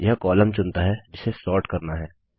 यह कॉलम चुनता है जिसे सोर्ट करना है